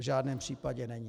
V žádném případě není.